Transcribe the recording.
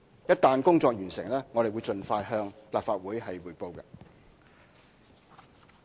一旦工作完成，我們會盡快向立法會匯報。